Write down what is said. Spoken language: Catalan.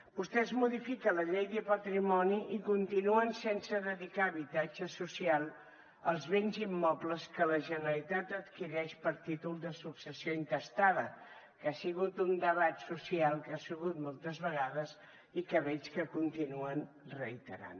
vostès modifiquen la llei de patrimoni i continuen sense dedicar a habitatge social els béns immobles que la generalitat adquireix per títol de successió intestada que ha sigut un debat social que hi ha sigut moltes vegades i que veig que continuen reiterant